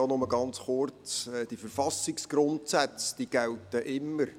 Nur ganz kurz: Die Verfassungsgrundsätze gelten immer.